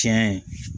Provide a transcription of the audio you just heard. Tiɲɛ